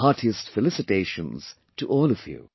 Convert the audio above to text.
Heartiest felicitations to all of you